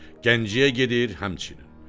Gəncəyə gedir, həmçinin.